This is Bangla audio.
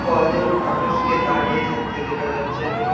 কয়জন মানুষকে দাঁড়িয়ে থাকতে দেখা যাচ্ছে।